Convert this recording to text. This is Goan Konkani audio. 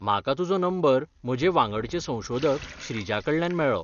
म्हाका तुजो नंबर म्हजे वांगडचें संशोधक श्रीजाकडल्यान मेळ्ळो.